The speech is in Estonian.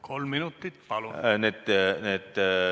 Kolm minutit, palun!